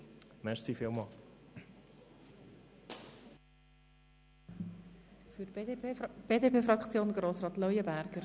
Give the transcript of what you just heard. Den Antrag der SP-JUSO-PSA lehnt die BDP-Fraktion ab.